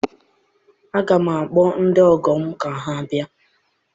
Aga m akpọ ndị ọgọ m ka ha bịa